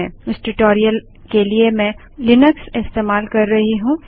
इस ट्यूटोरियल के लिए मैं लिनक्स इस्तेमाल कर रही हूँ